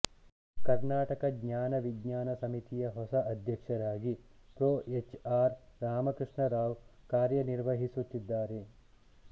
ಕರ್ನಾಟಕ ಜ್ಞಾನ ವಿಜ್ಞಾನ ಸಮಿತಿಯ ಹೊಸ ಅಧ್ಯಕ್ಷರಾಗಿ ಪ್ರೊ ಎಚ್ ಆರ್ ರಾಮಕೃಷ್ಣರಾವ್ ಕಾರ್ಯನಿರ್ವಹಿಸುತ್ತಿದ್ದಾರೆ